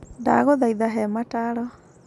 Ndagũthaitha he mataaro.